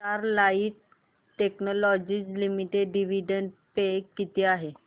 Sterlite Technologies Limited dividend pay किती आहे